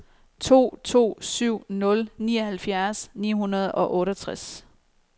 to to syv nul nioghalvfjerds ni hundrede og otteogtres